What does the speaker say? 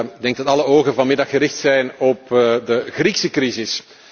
Ik denk dat alle ogen vanmiddag gericht zijn op de Griekse crisis.